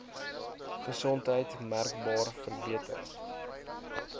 gesondheid merkbaar verbeter